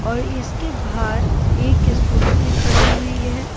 और इसके बाहर एक स्कूटी भी खड़ी हुई है।